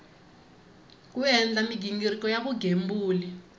ku endla mighingiriko ya vugembuli